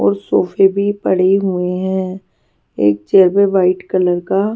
और सोफे भी पड़े हुए हैं एक चेयर पर वाइट कलर का--